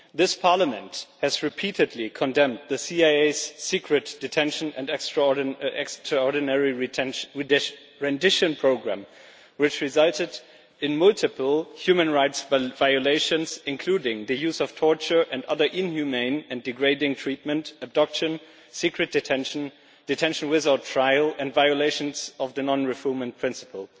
This Parliament has repeatedly condemned the CIA's secret detention and extraordinary rendition programme which resulted in multiple human rights violations, including the use of torture and other inhumane and degrading treatment, abduction, secret detention, detention without trial and violations of the non refoulement principle.